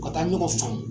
U ka taa ɲɔgɔn faamu